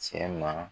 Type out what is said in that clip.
Cɛ ma